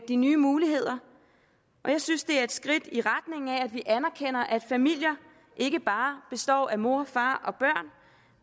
de nye muligheder jeg synes det er et skridt i retning af at vi anerkender at familier ikke bare består af mor far og børn